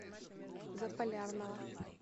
заполярного